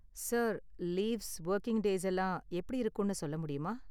Sir, leaves, working days எல்லாம் எப்படி இருக்கும்னு சொல்ல முடியுமா?